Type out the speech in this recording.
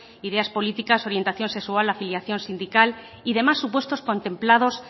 ideas políticas orientación sexual afiliación sindical y demás supuestos contemplados